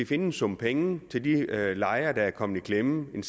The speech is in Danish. finde en sum penge til de lejere der er kommet i klemme en